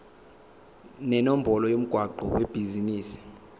nenombolo yomgwaqo webhizinisi